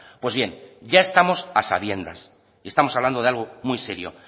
pues bien ya estamos a sabiendas estamos hablando de algo muy serio